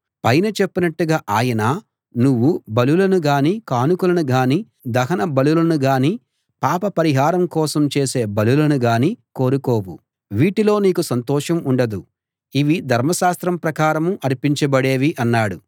పైన చెప్పినట్టుగా ఆయన నువ్వు బలులను గానీ కానుకలను గానీ దహన బలులను గానీ పాప పరిహారం కోసం చేసే బలులను గానీ కోరుకోవు వీటిలో నీకు సంతోషం ఉండదు ఇవి ధర్మశాస్త్రం ప్రకారం అర్పించబడేవి అన్నాడు